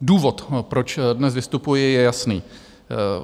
Důvod, proč dnes vystupuji, je jasný.